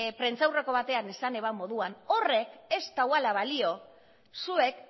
prentsaurreko batean esan zuen moduan horrek ez duala balio zuek